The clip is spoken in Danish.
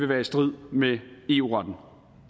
være i strid med eu retten